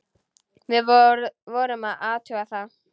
Við vorum að athuga það.